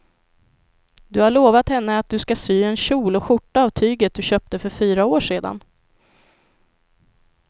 Du har lovat henne att du ska sy en kjol och skjorta av tyget du köpte för fyra år sedan.